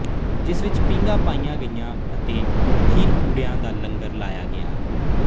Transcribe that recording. ਜਿਸ ਵਿੱਚ ਪੀਘਾਂ ਪਾਈਆਂ ਗਈਆਂ ਅਤੇ ਖੀਰਪੂੜਿਆਂ ਦਾ ਲੰਗਰ ਲਾਇਆ ਗਿਆ